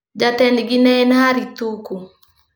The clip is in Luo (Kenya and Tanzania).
Jatendgi ne en Harry Thuku.